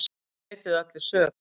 Þeir neituðu allir sök.